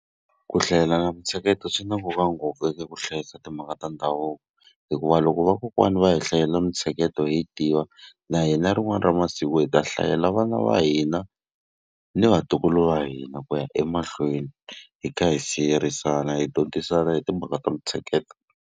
Ku hlayela mintsheketo swi na nkoka ngopfu eka ku hlayisa timhaka ta ndhavuko. Hikuva loko vakokwani va hi hlayela mintsheketo hi yi tiva, na hina rin'wana ra masiku hi ta hlayela vana va hina ni vatukulu va hina ku ya emahlweni, hi kha hi siyerisana hi dyondzisana hi timhaka ta mintsheketo.